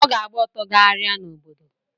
Ọ ga-agba ọtọ gagharia n’obodo